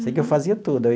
Sei que eu fazia tudo.